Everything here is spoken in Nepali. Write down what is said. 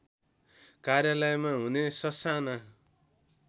कार्यालयमा हुने ससाना